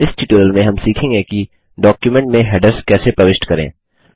इस ट्यूटोरियल में हम सीखेंगे कि160 डॉक्युमेंट में हैडर्स कैसे प्रविष्ट करें